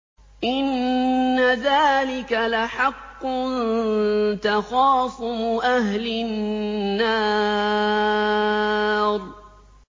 إِنَّ ذَٰلِكَ لَحَقٌّ تَخَاصُمُ أَهْلِ النَّارِ